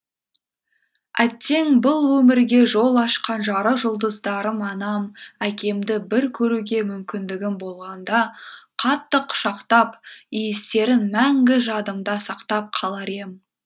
әттең бұл өмірге жол ашқан жарық жұлдыздарым анам әкемді бір көруге мумкіндігім болғанда қатты құшақтап иістерін мәңгі жадымда сақтап қалар ем